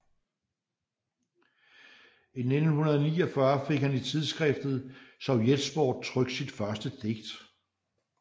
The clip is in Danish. I 1949 fik han i tidsskriftet Sovjetsport trykt sit første digt